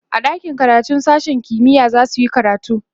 a ɗakin karatun sashen kimiya zasuyi karatu